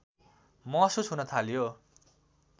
महसुस हुन थाल्यो